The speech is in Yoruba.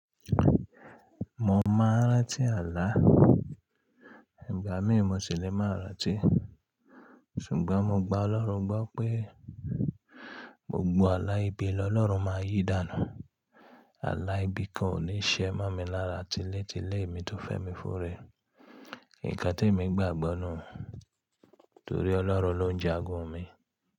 Mo mọ n rántí àlá, ìgbà mí mo sì lé mọ rántí. Ṣùgbọ́n mo gbá Ọlọ́run gbọ pé gbogbo àlá ibi lọlọ́run máa n yí dànù. Àlá ibi kan ò ní ṣẹ mọ́ mi lára tílétilé mi tó fẹ́ mi fún rẹ̀. Nkan tí èmi gbà gbọ nù, torí Ọlọ́run ló ń jagun mi.